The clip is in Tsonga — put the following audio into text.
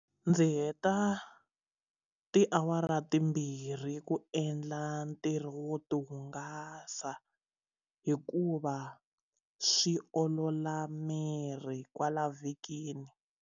Ndzi heta tiawara timbirhi ku endla ntirho wo tihungasa hikuva swi olola miri kwala vhikini.